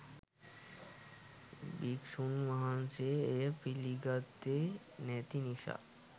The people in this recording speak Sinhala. භික්‍ෂූන් වහන්සේ එය පිළිගත්තේ නැති නිසා